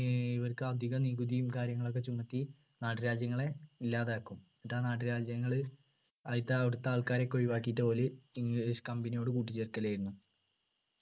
ഏർ ഇവർക്ക് അധികം നികുതിയും കാര്യങ്ങളൊക്കെ ചുമർത്തി നാട്ടുരാജ്യങ്ങളെ ഇല്ലാതാക്കും എന്നിട്ട് ആ നാട്ടുരാജ്യങ്ങള് അയിത്തെ അവിടുത്തെ ആൾക്കാരൊക്കെ ഒഴിവാക്കിയിട്ട് ഓര് english company യോട് കൂട്ടിച്ചേർക്കൽ ആയിരുന്നു